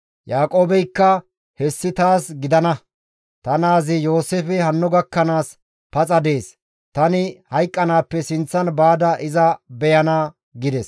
Yaaqoobeykka, «Hessi taas gidana; ta naazi Yooseefey hanno gakkanaas paxa dees! Tani hayqqanaappe sinththan baada iza beyana» gides.